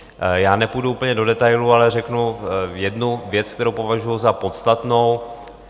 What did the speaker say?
Já nepůjdu úplně do detailů, ale řeknu jednu věc, kterou považuji za podstatnou.